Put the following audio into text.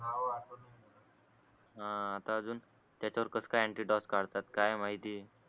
हा आता अजून त्याच्या वर कस काय ऍंटीडोस काढतात काय माहिती